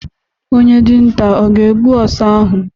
Onye dinta ọ ga-egbu ọsa ahụ?